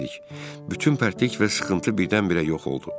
Bütün pərtlik və sıxıntı birdən-birə yox oldu.